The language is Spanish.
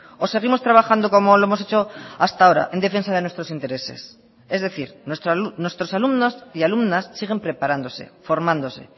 o seguimos trabajando como lo hemos hecho hasta ahora en defensa de nuestros intereses es decir nuestros alumnos y alumnas siguen preparándose formándose